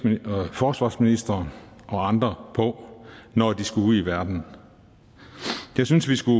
forsvarsministeren og andre på når de skulle ud i verden jeg synes vi skulle